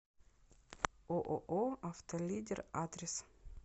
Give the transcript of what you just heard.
ооо автолидер адрес